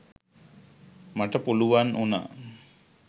මට පුළුවන් වුණා